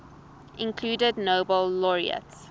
included nobel laureate